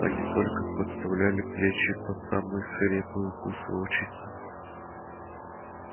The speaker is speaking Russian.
они только подставляли плечи под самые свирепые укусы волчицы